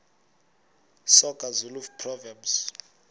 soga zulu proverbs